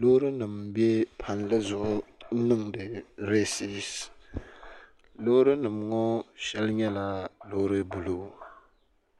Loori nima m be palli zuɣu n niŋdi resiisi loori nima ŋɔ sheli nyɛla a loori buluu